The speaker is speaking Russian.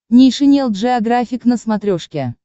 нейшенел джеографик на смотрешке